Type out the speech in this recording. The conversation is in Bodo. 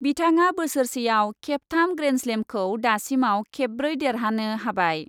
बिथाङा बोसोरसे आव खेबथाम ग्रेन्डस्लेमखौ दासिमाव खेबब्रै देरहानो हाबाय ।